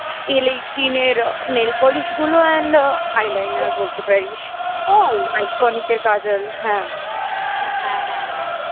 Elle eighteen র nailpolish গুলো and eyeliner বলতে পারিস বল Eyeconic র কাজল